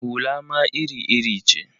Hula ma iri-iri ce.